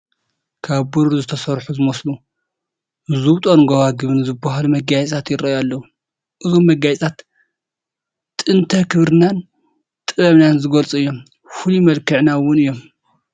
ካብ ብሩር ዝተሰርሑ ዝመስሉ ዝብጦን ጐባጉብን ዝበሃሉ መጋየፅታት ይርአዩ ኣለዉ፡፡ እዞም መጋየፅታት ጥንተ ክብርናን ጥበብናን ዝገልፁ እዮም፡፡ ፍሉይ መልክዕና እውን እዮም፡፡